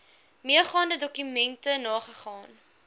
meegaande dokumente nagegaan